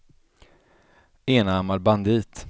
enarmad bandit